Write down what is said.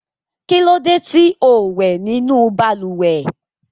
Kí ló dé tí ò wẹ̀ nínú balùwẹ̀?